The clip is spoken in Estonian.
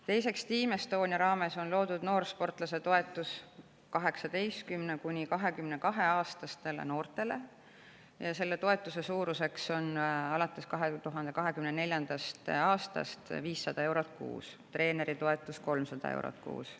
Teiseks, Team Estonia raames on loodud noorsportlase toetus 18–22‑aastastele noortele ja selle toetuse suurus on alates 2024. aastast 500 eurot kuus, treeneritoetus on 300 eurot kuus.